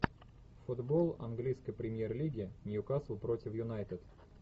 футбол английской премьер лиги ньюкасл против юнайтед